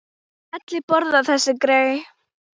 Allir borða þessi grey.